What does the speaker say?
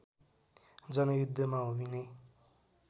जनयुद्धमा होमिने